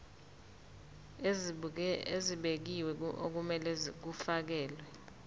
ezibekiwe okumele kufakelwe